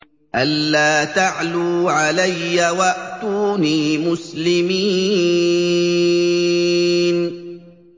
أَلَّا تَعْلُوا عَلَيَّ وَأْتُونِي مُسْلِمِينَ